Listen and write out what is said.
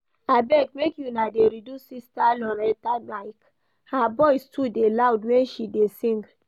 Abeg make una dey reduce Sister Loretta mic, her voice too dey loud when she dey sing